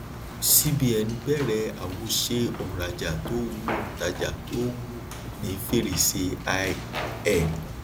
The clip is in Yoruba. cbn bẹrẹ àwòṣe òǹrajà tó wù òǹtajà tó wù ní fèrèsé i ẹ